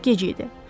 Artıq gec idi.